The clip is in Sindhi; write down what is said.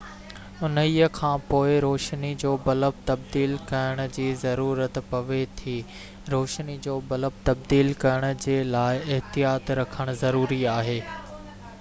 انهيءِ کانپوءِ روشني جو بلب تبديل ڪرڻ جي ضرورت پوي ٿي روشني جو بلب تبديل ڪرڻ جي لاءِ احتياط رکڻ ضروري آهي